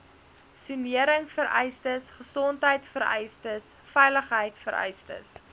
soneringvereistes gesondheidvereistes veiligheidvereistes